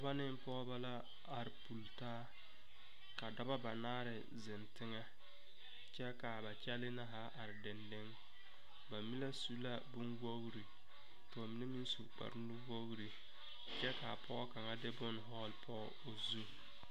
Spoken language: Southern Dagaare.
Dɔbɔ ne pɔgɔbɔ la are pultaa. Ka dɔbɔ banaare zeŋ teŋe kyɛ ka ba kyɛlɛ na zaa are deŋdeŋe. Ba mene su la boŋ wogre ka ba mene meŋ su kparo nu wogre kyɛ ka a pɔgɔ kanga de boŋ vogle poɔ o zu.